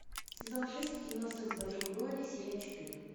сезон шесть кино секс в большом городе серия четыре